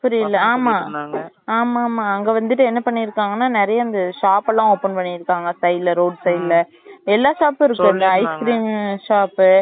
புரியல ஆமாம் ஆமா ஆமா அங்க வந்துட்டு என்ன பண்ணி இருகாங்க னா நேரிய இந்த shop லாம் open பண்ணி இருகாங்க side ல roadside ல எல்லா shop ம் இருக்கு ice cream shop